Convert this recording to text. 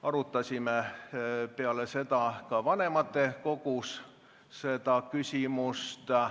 Arutasime peale seda ka vanematekogus seda küsimust.